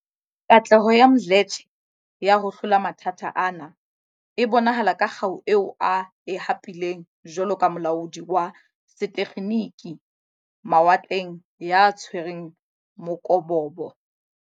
Katleho ya Mdletshe ya ho hlola mathata ana e bonahala ka kgau eo a e hapileng jwalo ka molaodi wa setekgeniki mawatleng ya tshwereng mokobobo.